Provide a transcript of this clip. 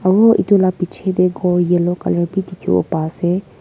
Aro etu la pichedae ghor yellow colour bhi dekhevo paase.